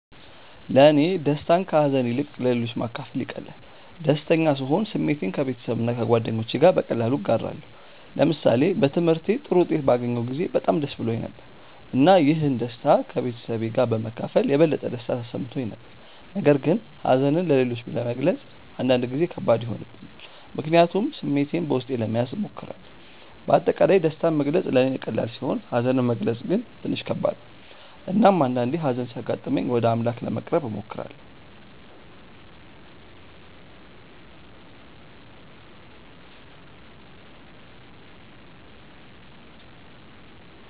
ለእኔ ደስታን ከሀዘን ይልቅ ለሌሎች ማካፈል ይቀላል። ደስተኛ ስሆን ስሜቴን ከቤተሰብና ከጓደኞቼ ጋር በቀላሉ እጋራለሁ። ለምሳሌ በትምህርቴ ጥሩ ውጤት ባገኘሁ ጊዜ በጣም ደስ ብሎኝ ነበር፣ እና ይህን ደስታ ከቤተሰቤ ጋር በመካፈል የበለጠ ደስታ ተሰምቶኝ ነበር። ነገር ግን ሀዘንን ለሌሎች መግለጽ አንዳንድ ጊዜ ከባድ ይሆንብኛል፣ ምክንያቱም ስሜቴን በውስጤ ለመያዝ እሞክራለሁ። በአጠቃላይ ደስታን መግለጽ ለእኔ ቀላል ሲሆን ሀዘንን መግለጽ ግን ትንሽ ከባድ ነው። እናም አንዳአንዴ ሀዘን ሲያጋጥመኝ ወደ አምላክ ለመቅረብ እሞክራለሁ።